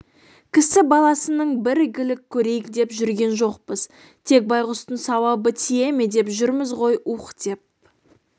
кісі баласынан бір игілік көрейік деп жүрген жоқпыз тек байғұстың сауабы тие ме деп жүрміз ғой уһ деп